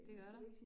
Det gør der